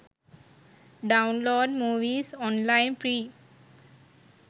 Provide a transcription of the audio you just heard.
download movies online free